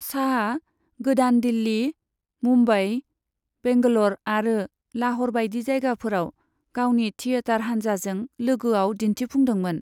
शाहआ गोदान दिल्ली, मुम्बाई, बैंगलोर आरो लाहौर बायदि जायगाफोराव गावनि थियेटार हानजाजों लोगोआव दिन्थिफुंदोंमोन।